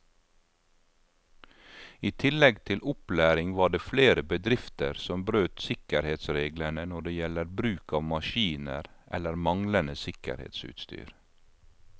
I tillegg til opplæring var det flere bedrifter som brøt sikkerhetsreglene når det gjelder bruk av maskiner eller manglende sikkerhetsutstyr.